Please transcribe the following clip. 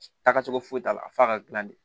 Taaga cogo foyi t'a la f'a ka gilan de